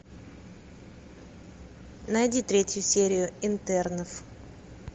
найди третью серию интернов